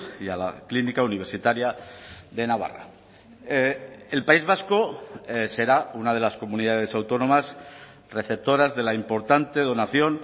y a la clínica universitaria de navarra el país vasco será una de las comunidades autónomas receptoras de la importante donación